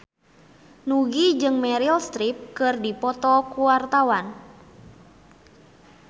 Nugie jeung Meryl Streep keur dipoto ku wartawan